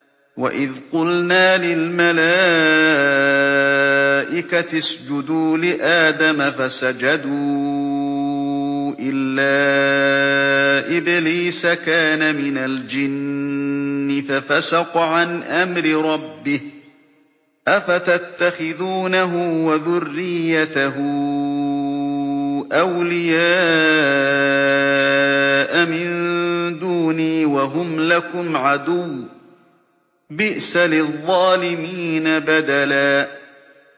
وَإِذْ قُلْنَا لِلْمَلَائِكَةِ اسْجُدُوا لِآدَمَ فَسَجَدُوا إِلَّا إِبْلِيسَ كَانَ مِنَ الْجِنِّ فَفَسَقَ عَنْ أَمْرِ رَبِّهِ ۗ أَفَتَتَّخِذُونَهُ وَذُرِّيَّتَهُ أَوْلِيَاءَ مِن دُونِي وَهُمْ لَكُمْ عَدُوٌّ ۚ بِئْسَ لِلظَّالِمِينَ بَدَلًا